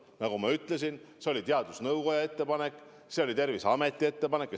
Nagu ma ütlesin, see oli teadusnõukoja ettepanek, see oli Terviseameti ettepanek.